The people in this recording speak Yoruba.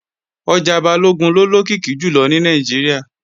Ọjà Balógun ló lókìkí jùlọ ní Nàìjíríà